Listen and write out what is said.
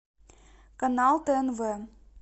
канал тнв